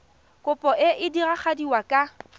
kopo e e diragadiwa ka